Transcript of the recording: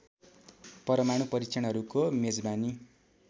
परमाणु परीक्षणहरूको मेजबानी